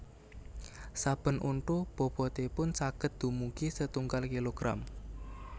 Saben untu bobotipun saged dumugi setunggal kilogram